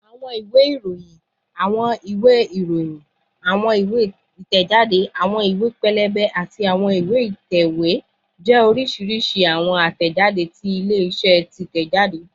Awọn iwe iroyin, awọn iwe, awọn iwe iroyin, awọn iwe itẹjade, awọn iwe pẹlẹbẹ, ati awọn iwe itẹwe jẹ oriṣiriṣi awọn atẹjade ti ile-iṣẹ titẹjade